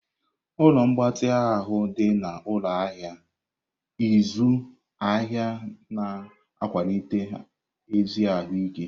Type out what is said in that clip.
Ụlọ mgbatị ahụ dị na ụlọ ahịa ịzụ ahịa na-akwalite ezi ahụ ike.